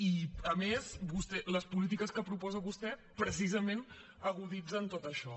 i a més les polítiques que proposa vostè precisament aguditzen tot això